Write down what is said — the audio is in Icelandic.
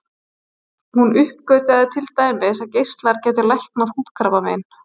Hún uppgötvaði til dæmis að geislar gætu læknað húðkrabbamein.